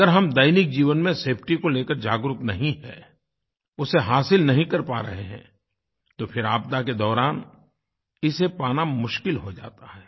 अगर हम दैनिक जीवन में सेफटी को लेकर जागरूक नहीं हैं उसे हासिल नहीं कर पा रहे हैं तो फिर आपदा के दौरान इसे पाना मुश्किल हो जाता है